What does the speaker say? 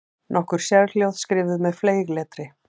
Nokkur sérhljóð skrifuð með fleygletri.